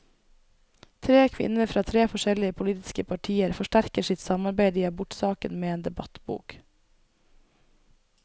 Tre kvinner fra tre forskjellige politiske partier forsterker sitt samarbeid i abortsaken med en debattbok.